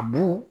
A bu